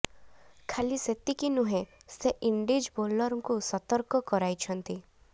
ଖାଲି ସେତିକି ନୁହେଁ ସେ ଇଣ୍ଡିଜ ବୋଲରଙ୍କୁ ସତର୍କ କରାଇଛନ୍ତି